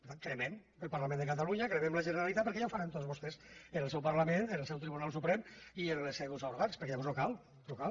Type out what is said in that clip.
per tant cremem el parlament de catalunya cremem la generalitat perquè ja ho faran tot vostès en el seu parlament en el seu tribunal suprem i en els seus òrgans perquè llavors no cal no cal